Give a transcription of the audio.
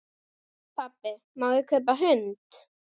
Pabbi, má ég kaupa hund?